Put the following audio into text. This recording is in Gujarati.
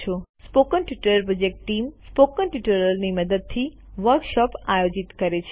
spoken tutorial project team spoken ટ્યુટોરીયલોની મદદથી વર્કશોપ આયોજિત કરે છે